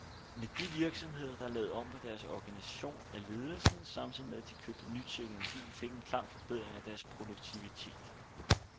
Men de virksomheder, der lavede om på deres organisation af ledelsen, samtidig med at de købte ny teknologi, fik en klar forbedring af deres produktivitet.